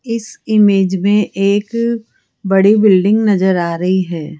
इस इमेज में एक बड़ी बिल्डिंग नजर आ रही है।